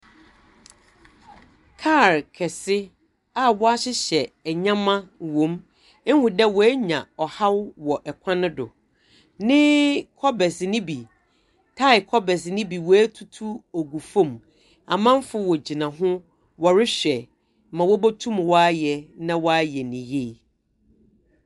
Kaar kɛsɛ a wɔahyehyɛ wɔ mu. Ihu dɛ wɔanya haw wɔ kwan do. Ne kɔbers no bi, tae kɔbers no bi wɔatutu ogu famu. Amamfo wogyina ho wɔrehwɛ ma wobotum wɔayɛ na wɔayɛ no yiye.